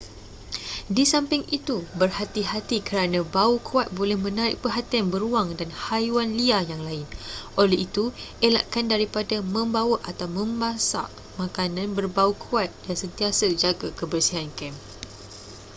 di samping itu berhati-hati kerana bau kuat boleh menarik perhatian beruang dan haiwan liar yang lain oleh itu elakkan daripada membawa atau memasak makanan berbau kuat dan sentiasa jaga kebersihan kem